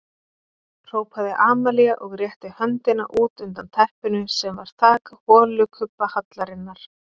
Hrópaði Amalía og rétti höndina út undan teppinu sem var þak holukubbahallarinnar.